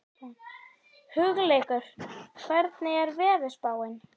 Hugleikur, hvernig er veðurspáin?